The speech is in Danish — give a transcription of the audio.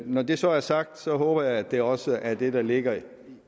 når det så er sagt håber jeg at det også er det der ligger